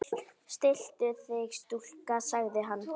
Stilltu þig stúlka, sagði hann.